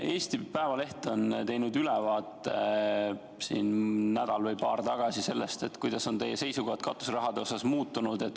Eesti Päevaleht tegi nädal või paar tagasi ülevaate sellest, kuidas on teie seisukohad katuseraha asjus muutunud.